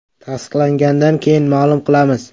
“Tasdiqlangandan keyin ma’lum qilamiz.